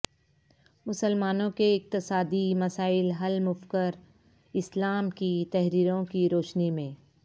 مسلمانوں کے اقتصادی مسائل حل مفکراسلام کی تحریروں کی روشنی میں